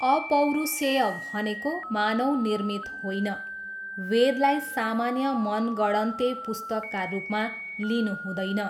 अपौरुषेय भनेको मानव निर्मित होइन, वेदलाई सामान्य मनगढन्ते पुस्तकका रूपमा लिनुहुँदैन।